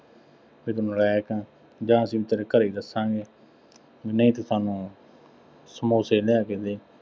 ਕਿ ਤੂੰ ਨਲਾਇਕ ਆਂ, ਜਾਂ ਅਸੀਂ ਤੇਰੇ ਘਰੇ ਦੱਸਾਂਗੇ। ਨਹੀਂ ਤਾਂ ਸਾਨੂੰ ਸਮੋਸੇ ਲਿਆ ਕੇ ਦੇ।